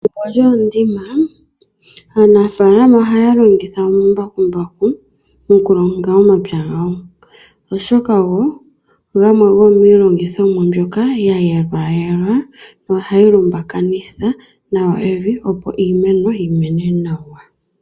Pethimbo lyoondimba, aanafaalama oha ya lo githa omambakumbaku, oku longa omapya gawo. Oshoka ogo gamwe gomiilongithomwa mbyoka ya yelwayekwa, no ha yi lumbakanitha evi opo iimeno yi mene nawa.